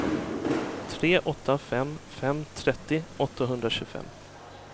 tre åtta fem fem trettio åttahundratjugofem